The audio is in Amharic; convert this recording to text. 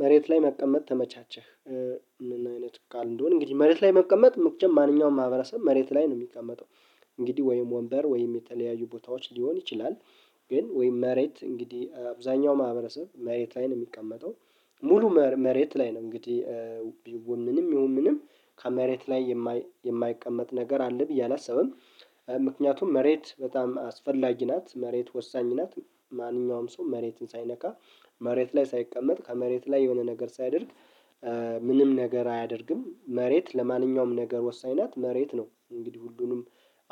መሬት ላይ መቀመጥ ተመቻቸህ? ምን አይነት ቃል እንደሆነ እንግዲህ መሬት ላይ መቀመጥ መቸም ማንኛውም ማህበረሰብ መሬት ላይ ነው የሚቀመጠው። እንግዲህ ወይም ወንበር ወይም የተለያዩ ቦታዎች ሊሆን ይችላል። ግን ወይም መሬት እንግዲህ አብዛኛው ማህበረሰብ መሬት ላይ ነው የሚቀመጠው። ሙሉ መሬት ላይ ነው እንግዲህ ቢውምንም ይሁን ምንም ከመሬት ላይ የማይቀመጥ ነገር አለ ብዬ አላስብም። ምክንያቱም መሬት በጣም አስፈላጊ ናት መሬት ወሳኝ ናት። ማንኛውም ሰው መሬትን ሳይነካ መሬት ላይ ሳይቀመጥ ከመሬት ላይ የሆነ ነገር ሳያደርግ ምንም ነገር አያደርግም። መሬት ለማንኛውም ነገር ወሳኝ ናት መሬት ነው እንግዲህ ሁሉንም